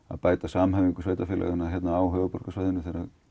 að bæta samhæfingu sveitarfélaganna á höfuðborgarsvæðinu